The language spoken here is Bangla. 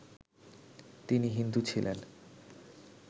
তিনি হিন্দু ছিলেন